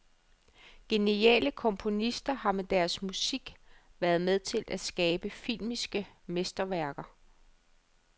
Geniale komponister har med deres musik været med til at skabe filmiske mesterværker.